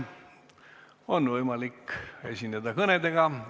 On võimalik esineda kõnedega.